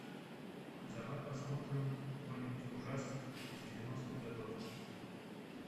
давай посмотрим какой нибудь ужастик из девяностых годов